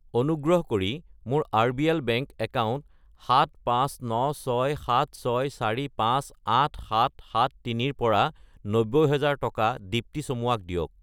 অনুগ্ৰহ কৰি মোৰ আৰবিএল বেংক একাউণ্ট 759676458773 ৰ পৰা 90000 টকা দীপ্তী চামুৱা ক দিয়ক।